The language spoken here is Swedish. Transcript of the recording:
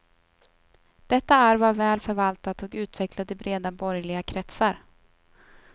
Detta arv var väl förvaltat och utvecklat i breda borgerliga kretsar.